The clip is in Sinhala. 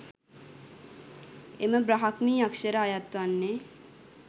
එම බ්‍රාහ්මී අක්‍ෂර අයත් වන්නේ